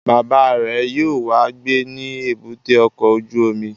Bàbá rẹ̀ yóò wá gbé ní èbúté ọkọ̀ ojú omi